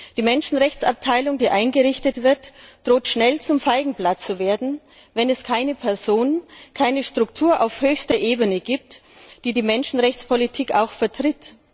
Die Menschenrechtsabteilung, die eingerichtet wird, droht schnell zum Feigenblatt zu werden, wenn es keine Person, keine Struktur auf höchster Ebene gibt, die die Menschenrechtspolitik vertritt.